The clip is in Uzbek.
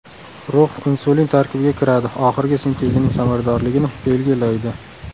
Rux insulin tarkibiga kiradi, oxirgi sintezining samaradorligini belgi laydi.